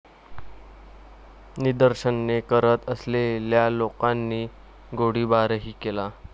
निदर्शने करत असलेल्या लोकांनी गोळीबारही केला.